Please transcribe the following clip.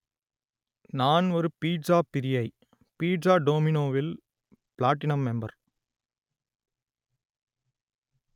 நான் ஒரு பீட்ஸாப் பிரியை பீட்ஸா டோமினோவில் பிளாட்டினம் மெம்பர்